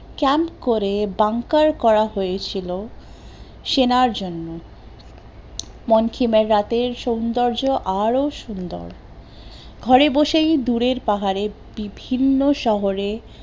camp করে bunker করা হয়েছিলো সেনার জন্য, মঙ্কিমের রাতের সৌন্দর্য আরো সুন্দর, ঘরে বসেই দুরের পাহাড়ে বিভিন্ন শহরে